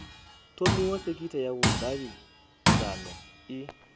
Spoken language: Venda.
thomiwa sekitha ya vhudavhidzano i